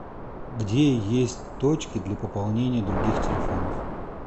где есть точки для пополнения других телефонов